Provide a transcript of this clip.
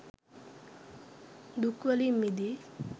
දුක් වලින් මිදී